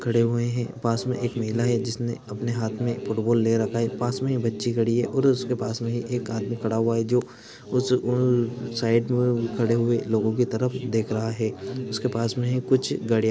खड़े हुए है पास मे एक महिला है जिसमे अपने हातमे फूट बॉल ले रखा है पास मे ही बच्ची खड़ी है उसके पास मे एक आदमी खडा हुआ है जो उस उन साइड मे खड़े हुए लोगो कि तरफ देख रहा है उसके पास मे कुछ--